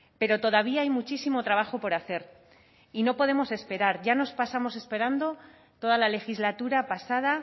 pero todavía hay muchísimo trabajo por hacer y no podemos esperar ya nos pasamos esperando toda la legislatura pasada